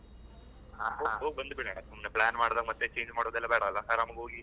ಹಾ, ಹಾ, ಹೋಗ್ ಬಂದ್ಬಿಡೋಣ ಸುಮ್ನೆ plan ಮಾಡುದ, ಮತ್ತೆ change ಮಾಡುದ ಅದ್ದೆಲ್ಲ ಬೇಡ ಅಲ ಆರಾಮಾಗಿ ಹೋಗಿ.